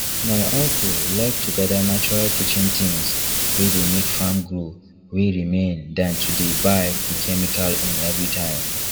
my uncle like to gather natural kitchen things wey dey make farm grow wey remain than to dey buy the chemical own every time